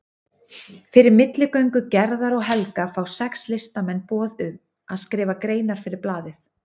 Fyrir milligöngu Gerðar og Helga fá sex listamenn boð um að skrifa greinar fyrir blaðið.